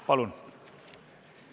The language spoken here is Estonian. Palun!